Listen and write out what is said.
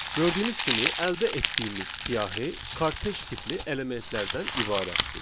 Gördüyünüz kimi, əldə etdiyimiz siyahı kortec tipli elementlərdən ibarətdir.